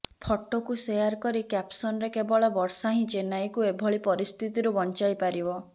ଫଟୋକୁ ସେୟାର କରି କ୍ୟାପ୍ସନରେ କେବଳ ବର୍ଷା ହିଁ ଚେନ୍ନାଇକୁ ଏଭଳି ପରିସ୍ଥିତିରୁ ବଞ୍ଚାଇ ପାରିବ